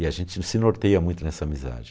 E a gente se norteia muito nessa amizade.